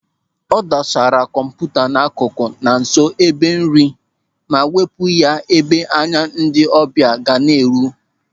O dosara kọmputa n'akụkụ na nso ebe nri ma wepụ ya ebe anya ndị ọbịa ga na-eru.